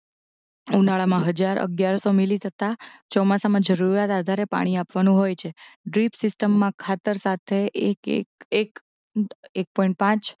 ઉનાળામાં હજાર અગિયારસો મિલી તથા ચોમાસામાં જરૂરિયાત આધારે પાણી આપવાનું હોય છે ડ્રિપ સીસ્ટમમાં ખાતર સાથે એક એક એક એક પોઇંટ પાંચ